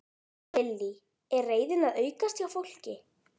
Lillý: Er reiðin að aukast hjá fólki?